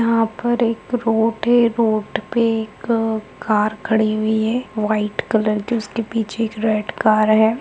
यहां पे एक रोड है रोड पे एक कार खड़ी हुई है व्हाइट कलर की उसके पीछे एक रेड कार है।